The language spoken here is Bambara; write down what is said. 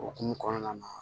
Okumu kɔnɔna na